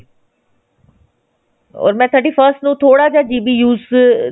ਓਰ ਮੈਂ thirty first ਨੂੰ ਥੋੜਾ ਜਾ GB use